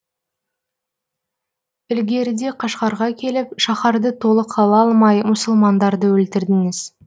ілгеріде қашғарға келіп шаһарды толық ала алмай мұсылмандарды өлтірдіңіз